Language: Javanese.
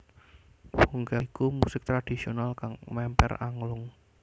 Bongkel iku musik tradhisional kang memper anglung